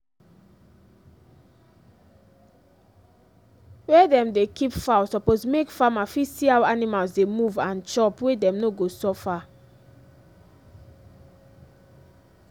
wey dem dey keep fowl suppose make farmer fit see how animals dey move and chop wey dem no go suffer